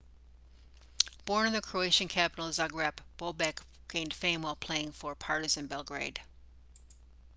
born in the croatian capital zagreb bobek gained fame while playing for partizan belgrade